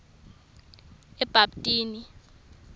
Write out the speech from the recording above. ebabtini